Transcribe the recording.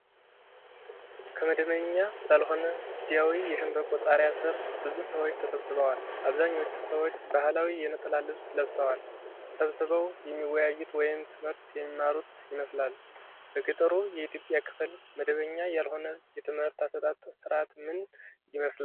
ከመደበኛ ባልሆነ ጊዜያዊ የሸምበቆ ጣሪያ ስር ብዙ ሰዎች ተሰብስበዋል። አብዛኞቹ ሰዎች ባህላዊ የነጠላ ልብስ ለብሰዋል። ተሰብስበው የሚወያዩት ወይም ትምህርት የሚማሩት ይመስላል። በገጠሩ የኢትዮጵያ ክፍል መደበኛ ያልሆነ የትምህርት አሰጣጥ ሥርዓት ምን ይመስላል?